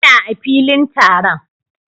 Ina a filin taron